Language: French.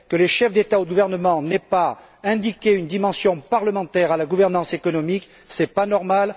Que les chefs d'État ou de gouvernement n'aient pas donné une dimension parlementaire à la gouvernance économique, ce n'est pas normal!